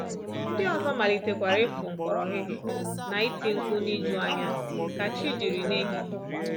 Ndị ọzọ malitekwara ịfụ mkpọrọhịhị na iti mkpu n’ijuanya ka chi jiri n’ehihie